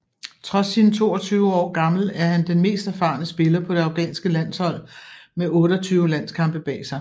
Trods sin 22 år gammel er han den mest erfaren spiller på det afghanske landshold med 28 landskampe bag sig